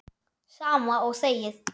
Sama og þegið!